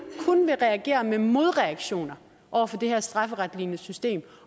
kun vil reagere med modreaktioner over for det her strafferetlignende system